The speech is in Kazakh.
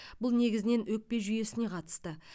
бұл негізінен өкпе жүйесіне қатысты